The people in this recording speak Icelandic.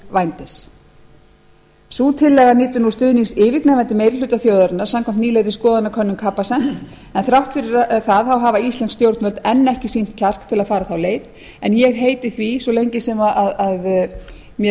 vændis sú tillaga nýtur nú stuðnings yfirgnæfandi meiri hluta þjóðarinnar samkvæmt nýlegri skoðanakönnun capacent en þrátt fyrir það hafa íslensk stjórnvöld enn ekki sýnt kjark til að fara þá leið en ég heiti því að svo lengi sem mér